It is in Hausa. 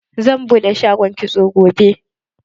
Zan buɗe shagon kitso gobe.